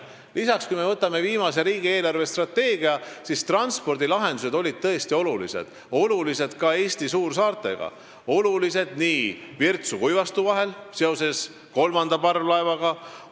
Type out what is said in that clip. Lisaks, kui me võtame viimase riigi eelarvestrateegia, siis seal olid tõesti olulised transpordilahendused Eesti suursaarte vahel, Virtsu ja Kuivastu vahel seoses kolmanda parvlaevaga.